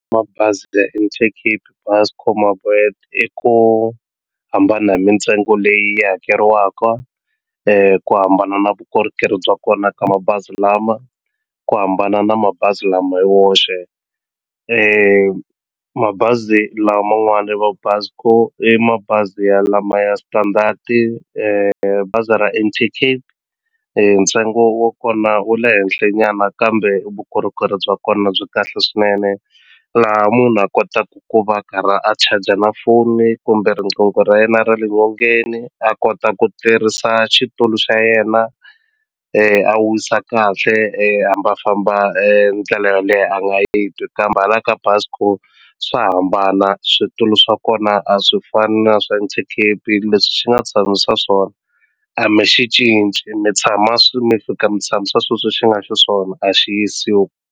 Mabazi ya Intercape, Buscor, My Boet i ku hambana hi mintsengo leyi yi hakeriwaka ku hambana na vukorhokeri bya kona ka mabazi lama ku hambana na mabazi lama hi woxe mabazi laman'wani vo Buscor i mabazi ya lama ya standard-i bazi ra Intercape ntsengo wa kona wu le henhlanyana kambe vukorhokeri bya kona byi kahle swinene laha munhu a kotaka ku va a karhi a charger na foni kumbe riqingho ra yena ra le nyongeni a kota ku tirhisa xitulu xa yena a wisa kahle hambi a famba ndlela yo leha a nga yi twi ku hambana ka Buscor swa hambana switulu swa kona a swi fani na swa Intercape leswi xi nga tshamisa swona a mi xi cinci mi tshama mi fika mi tshamisa sweswo xi nga xiswona a xi yisiwi.